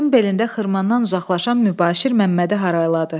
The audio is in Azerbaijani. Atın belində xırmandan uzaqlaşan Mübaşir Məmmədi harayladı.